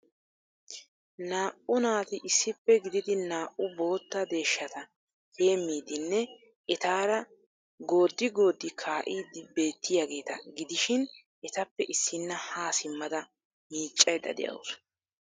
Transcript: Naa"u naati issippe gididi naa"u bootta deeshshata heemmidinne etaara goodi goodi kaa'idi bettiyaageeta gidishin etappe issina ha simmada miiccaydda de'awusu.